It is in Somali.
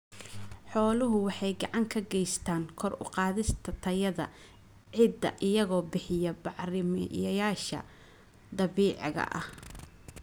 Xooluhu waxay gacan ka geystaan ??kor u qaadista tayada ciidda iyagoo bixiya bacrimiyeyaasha dabiiciga ah.